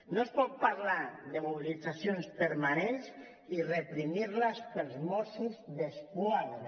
no es pot parlar de mobilitzacions permanents i reprimir les pels mossos d’esquadra